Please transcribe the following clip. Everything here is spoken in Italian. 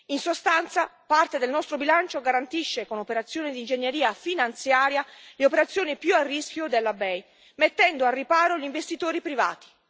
In sostanza, parte del nostro bilancio garantisce, con operazione di ingegneria finanziaria, le operazioni più a rischio della BEI, mettendo al riparo gli investitori privati.